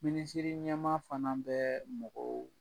Minisiriɲɛma fana bɛ mɔgɔw